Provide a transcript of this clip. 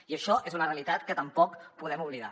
i això és una realitat que tampoc podem oblidar